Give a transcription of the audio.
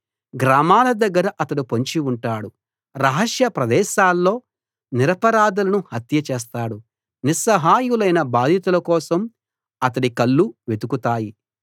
గ్రామాల దగ్గర అతడు పొంచి ఉంటాడు రహస్య ప్రదేశాల్లో నిరపరాధులను హత్య చేస్తాడు నిస్సహాయులైన బాధితుల కోసం అతడి కళ్ళు వెతుకుతాయి